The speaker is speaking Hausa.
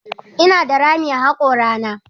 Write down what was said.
Ina da rami a hakorana.